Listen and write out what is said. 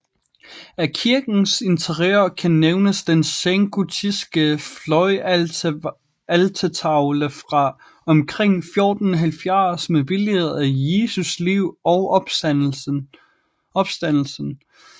Af kirkens interiør kan nævnes den sengotiske fløjaltertavle fra omkring 1470 med billeder af Jesus liv og opstandelsen